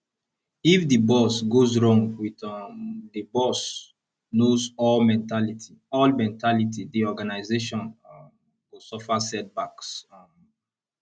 if di boss goes wrong with um the boss knows all mentality all mentality di organisation um go suffer setbacks um